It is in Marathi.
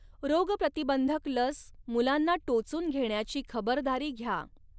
रोगप्रतिबंधक लस मुलांना टोचून घेण्याची खबरदारी घ्या.